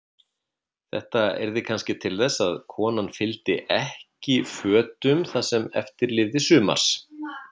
Þetta yrði kannski til þess að konan fylgdi ekki fötum það sem eftir lifði sumars.